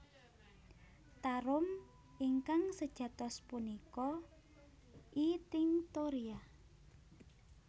Tarum ingkang sejatos punika I tinctoria